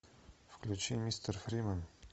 включи мистер фримен